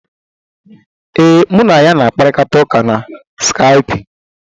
Ee, mụ na ya na-akparịta ụka na skaipụ.